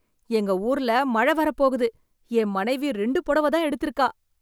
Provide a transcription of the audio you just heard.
எங்க ஊர்ல மழையே வரப்போகுது என் மனைவி ரெண்டு புடவை தான் எடுத்து இருக்கா